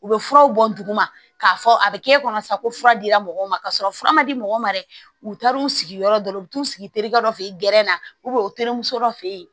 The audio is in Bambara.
U bɛ furaw bɔ duguma k'a fɔ a bɛ kɛ e kɔnɔ sa ko fura dira mɔgɔw ma ka sɔrɔ fura ma di mɔgɔ ma dɛ u taar'u sigiyɔrɔ dɔ la u t'u sigi terikɛ dɔ fɛ yen gɛrɛ na u terimuso dɔ fe yen